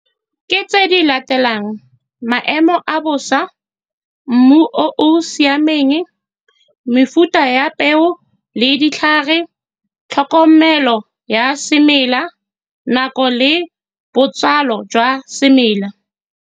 Ke tse di latelang, maemo a bosa, mmu o o siameng, mefuta ya peo le ditlhare, tlhokomelo ya semela, nako le botsalo jwa semela.